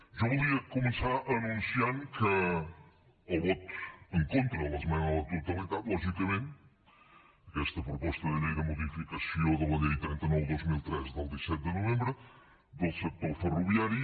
jo voldria començar anunciant el vot en contra a l’esmena de la totalitat lògicament a aquesta proposta de llei de modificació de la llei trenta nou dos mil tres del disset de novembre del sector ferroviari